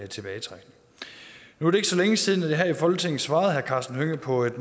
tilbagetrækning nu er det ikke så længe siden at jeg her i folketinget svarede herre karsten hønge på et